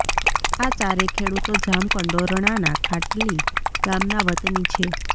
આ ચારેય ખેડૂતો જામકંડોરણાના ખાટલી ગામના વતની છે